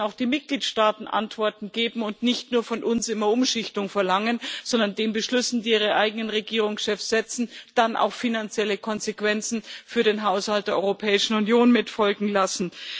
Da müssen auch die Mitgliedstaaten Antworten geben und nicht nur von uns immer Umschichtung verlangen, sondern den Beschlüssen, die ihre eigenen Regierungschefs setzen, dann auch finanzielle Konsequenzen für den Haushalt der Europäischen Union folgen lassen.